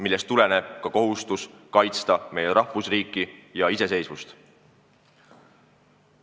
Sellest tuleneb ka kohustus kaitsta meie rahvusriiki ja iseseisvust.